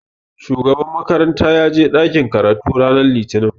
Shugaban makaranta ya je ɗakin karatu ranar Litinin